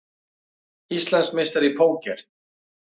Íslandsmeistari í póker